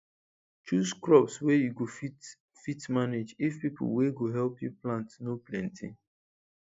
choose crops wey you go fit fit manage if people wey go help you plant no plenty